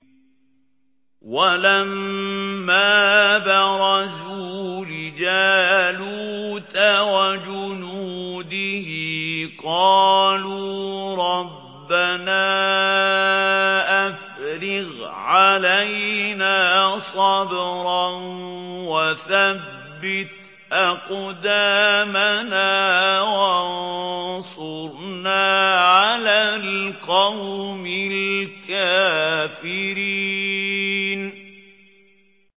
وَلَمَّا بَرَزُوا لِجَالُوتَ وَجُنُودِهِ قَالُوا رَبَّنَا أَفْرِغْ عَلَيْنَا صَبْرًا وَثَبِّتْ أَقْدَامَنَا وَانصُرْنَا عَلَى الْقَوْمِ الْكَافِرِينَ